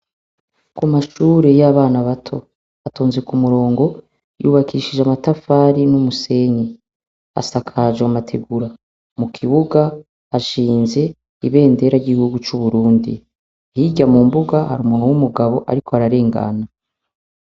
Amashure y'abana bato yubatse ku murongo yubakishije amatafari n'umusenyi, asakajwe amategura mu kibuga hashinze ibendera ry'uburundi, hirya mu mbuga har'umuntu w'umugabo ariko ararengana.